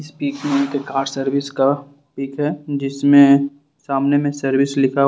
इस पिक में car service का पिक है जिसमें सामने मे सर्विस लिखा हुआ--